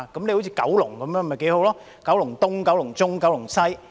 好像九龍那樣不是挺好嗎——"九龍東"、"九龍中"、"九龍西"？